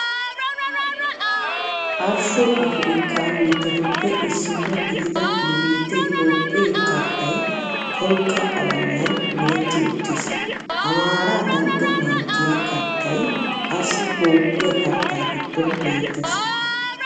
Arshsho Afrikkaa biittatuppe issino gidida nu biittee Toophphee karttay tolkka qalamiyan meretti uttiis. Amaaraa dalgga manttiyaa karttay qassi Toophphiyaa kartta giddon beettees.